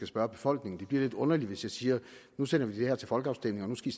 spørge befolkningen det bliver lidt underligt hvis jeg siger nu sender vi det her til folkeafstemning og nu skal